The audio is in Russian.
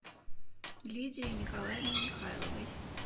лидией николаевной михайловой